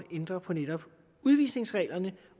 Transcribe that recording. ændre på netop udvisningsreglerne